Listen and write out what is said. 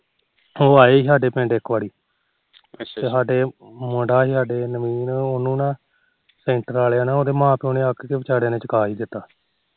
ਉਹ ਆਏ ਸੀ ਸਾਡੇ ਪਿੰਡ ਇੱਕ ਵਾਰੀ ਤੇ ਮੁੰਡਾ ਸੀ ਸਾਡੇ ਨਵੀਨ ਉਹਨੂੰ ਨਾ ਸੈਂਟਰ ਵਾਲਿਆਂ ਨੇ ਨਾ ਮਾਂ ਪਿਓ ਨਾ ਅੱਕ ਕੇ ਵਿਚਾਰਿਆਂ ਨੇ ਚਕਾ ਹੀ ਦਿੱਤਾ